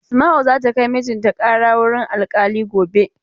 Asma'u za ta kai mijin ta ƙara wurin alkali gobe.